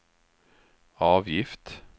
avgift